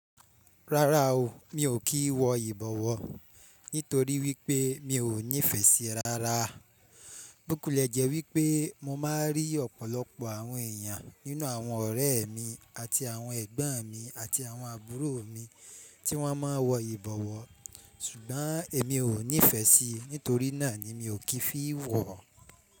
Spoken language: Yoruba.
Rárá o, mi ò kí ń wọ ìbọwọ́, nítorí wípé mi ò nífẹ̀ẹ́ sí i rárá. Bukulẹ̀ jẹ́ wípé mo máa ń rí ọ̀pọ̀lọpọ̀ àwọn èèyàn nínú àwọn ọ̀rẹ́ mi àti àwọn ẹ̀gbọ́n mi àti àwọn àbúrò mi tí wọ́n máa ń wọ ìbọwọ́, ṣùgbọ́n èmi ò nífẹ̀ẹ́ sí i, nítorí náà ni mi ò kí fi wọ̀ ọ́.